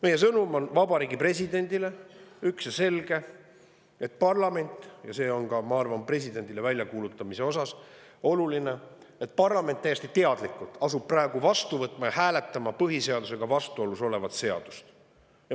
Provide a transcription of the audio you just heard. Meie sõnum Vabariigi Presidendile on ühene ja selge, ja see on, ma arvan, ka presidendile endale oluline väljakuulutamise osas: parlament asub praegu täiesti teadlikult vastu võtma ja hääletama põhiseadusega vastuolus olevat seadust.